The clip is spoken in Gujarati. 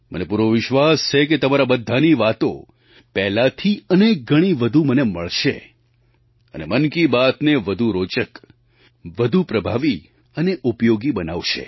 મને પૂરો વિશ્વાસ છે કે તમારાં બધાંની વાતો પહેલાંથી અનેક ગણી વધુ મને મળશે અને મન કી બાતને વધુ રોચક વધુ પ્રભાવી અને ઉપયોગી બનાવશે